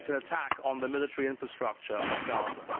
It is an attack on the military infrastructure of Gaza.